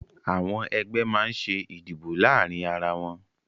Àwọn ẹgbẹ́ máa ń ṣe ìdìbò láàárín ara wọn